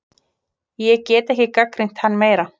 Ég get ekki gagnrýnt hann meira.